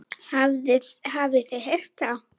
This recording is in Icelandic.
Hafið þið heyrt það?